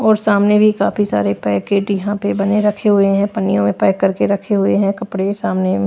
और सामने भी काफी सारे पैकेट यहां पे बने रखे हुए हैं पनियों में पैक करके रखे हुए हैं कपड़े सामने--